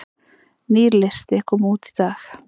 Nýr listi kom út í dag